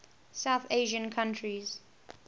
south asian countries